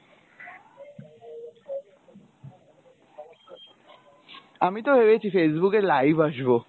আমি তো ভেবেছি Facebook এ live আসব।